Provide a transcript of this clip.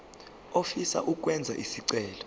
ofisa ukwenza isicelo